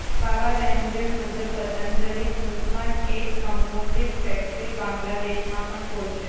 બાબા રામદેવ મુજબ પતંજલિ ટૂંકમાં જ એક કંપોજિટ ફેક્ટરી બાંગ્લાદેશમાં પણ ખોલશે